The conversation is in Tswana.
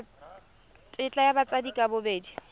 tetla ya batsadi ka bobedi